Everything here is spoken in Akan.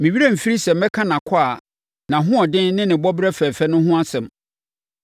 “Me werɛ remfiri sɛ mɛka nʼakwaa, nʼahoɔden ne ne bɔberɛ fɛfɛ no ho asɛm.